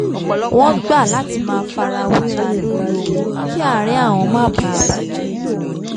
wọ́n gbà láti má farawéra lorí ọ̀rọ̀ owó kí àárín àwọn má bàa bà jẹ́